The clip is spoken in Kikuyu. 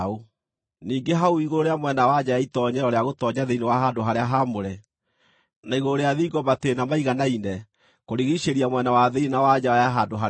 Ningĩ hau igũrũ rĩa mwena wa nja ya itoonyero rĩa gũtoonya thĩinĩ wa handũ-harĩa-haamũre, na igũrũ rĩa thingo matĩĩna maiganaine kũrigiicĩria mwena wa thĩinĩ na wa nja ya handũ-harĩa-haamũre